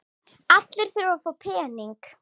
Allir þurfa að fá peninga.